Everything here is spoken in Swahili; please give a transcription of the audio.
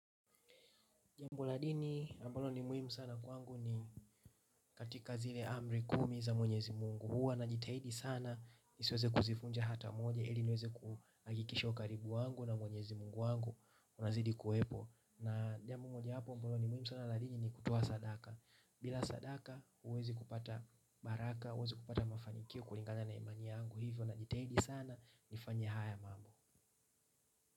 Jambu la dini ambalo ni muhimu sana kwangu ni katika zile amri kumi za mwenyezi Mungu, huwa najitahidi sana nisiweze kuzifunja hata moja ili niweze kuhakikisha ukaribu wangu na mwenyezi Mungu wangu unazidi kuwepo na jambo moja wapo ambalo ni muhimu sana la dini ni kutoa sadaka. Bila sadaka huwezi kupata baraka huwezi kupata mafanikio kulingana na imani yangu hivyo najitahidi sana nifanye haya mambo.